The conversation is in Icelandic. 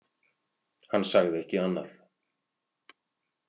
Hann sagði ekki annað.